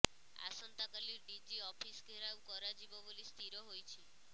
ଆସନ୍ତାକାଲି DG office ଘେରାଉ କରାଯିବ ବୋଲି ସ୍ଥିର ହୋଇଛି